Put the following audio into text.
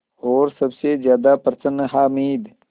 और सबसे ज़्यादा प्रसन्न है हामिद